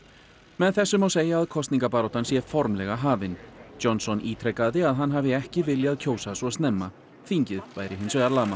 með þessu má segja að kosningabaráttan sé formlega hafin Johnson ítrekaði að hann hafi ekki viljað kjósa svo snemma þingið væri hins vegar lamað